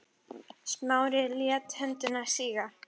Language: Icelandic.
Smári lét höndina síga.